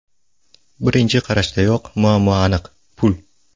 Birinchi qarashdayoq muammo aniq: pul.